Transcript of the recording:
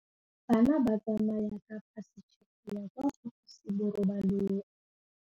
Bana ba tsamaya ka phašitshe go ya kwa phaposiborobalong.